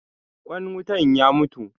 Ƙwan wutan ya mutu.